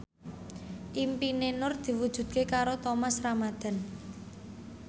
impine Nur diwujudke karo Thomas Ramdhan